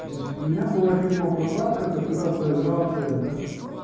значит у меня была фирма прокладка которая проиграла тендер